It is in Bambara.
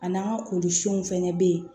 A n'an ka kolifɛnw fɛnɛ be yen